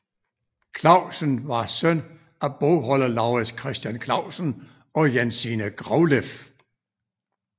Clausen var søn af bogholder Lauritz Christian Clausen og Jensine Grauleff